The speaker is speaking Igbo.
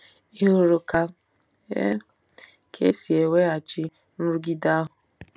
Ị hụrụ ka e ka e si eweghachi nrụgide ahụ?